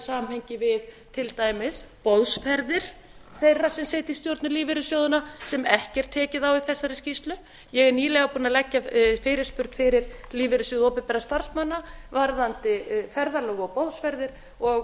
samhengi við til dæmis boðsferðir þeirra sem sitja í stjórnum lífeyrissjóðanna sem ekki er tekið á í þessari skýrslu ég er nýlega búin að leggja fyrirspurn fyrir lífeyrissjóð opinberra starfsmanna varðandi ferðalög og boðsferðir og